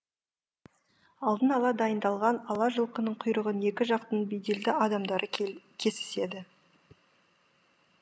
алдын ала дайындалған ала жылқының құйрығын екі жақтың беделді адамдары кесіседі